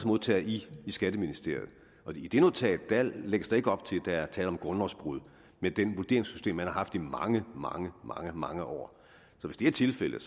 modtaget i skatteministeriet og i det notat lægges der ikke op til at der er tale om grundlovsbrud med det vurderingssystem man har haft i mange mange mange mange år så hvis det er tilfældet